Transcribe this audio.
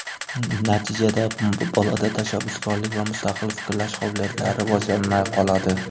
Natijada bolada tashabbuskorlik va mustaqil fikrlash qobiliyatlari rivojlanmay qoladi.